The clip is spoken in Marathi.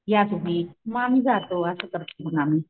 या तुम्ही मग आम्ही जातो असं करतो मग आम्ही.